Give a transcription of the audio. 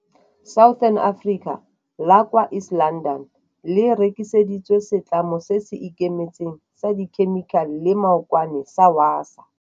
Southern Africa la kwa East London le rekiseditswe setlamo se se ikemetseng sa dikhemikhale le maokwane sa Wasaa.